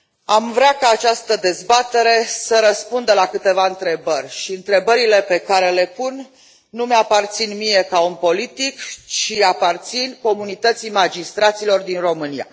Am vrea ca această dezbatere să răspundă la câteva întrebări și întrebările pe care le pun nu îmi aparțin mie, ca om politic, ci aparțin comunității magistraților din România.